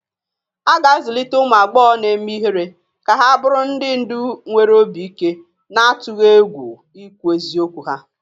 A ga-azụlite ụmụ agbọghọ na-eme ihere ka ha bụrụ ndị ndu nwere obi ike, na-atụghị egwu ikwu eziokwu ha.